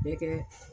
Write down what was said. Bɛ kɛ